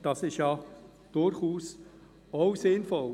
Das ist durchaus auch sinnvoll.